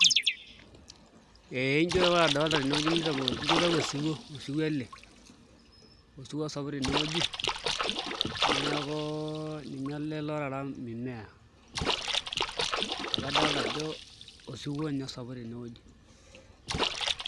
Eeh ijo ore adolta tenewueji na kitau osiwuo osiwuo ele osiwuo osapuk tenewueji neaku ninye ele otaara mimea amu kadolita ajo osiwuo nye osapuk tenewueji.